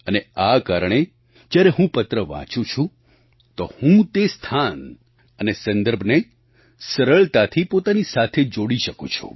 અને આ કારણે જ્યારે હું પત્ર વાંચું છું તો હું તે સ્થાન અને સંદર્ભને સરળતાથી પોતાની સાથે જોડી શકું છું